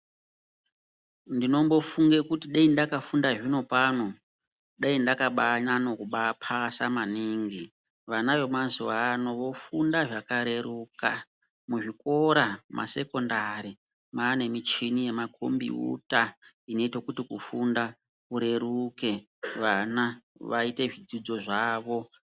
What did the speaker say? Ndinombofunge kuti dai ndakafunda zvinopano dai ndakabanyanyo kubaakupasa maningi. Vana venazuwa ano vofunda zvakareruka. Muzvikora masekondari mwaane muchini yemakombiyuta inoite kuti kufunda kureruke vana vaite zvidzidzo zvavo.